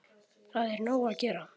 Það er nóg að gera.